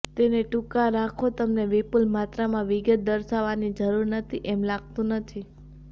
તેને ટૂંકા રાખો તમને વિપુલ માત્રામાં વિગત દર્શાવવાની જરૂર નથી એમ લાગતું નથી